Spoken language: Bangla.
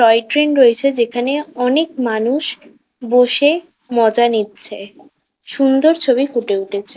টয় ট্রেন রয়েছে। যেখানে অনেক মানুষ বসে-এ মজা নিচ্ছে। সুন্দর ছবি ফুটে উঠেছে।